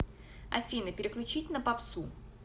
афина переключить на попсу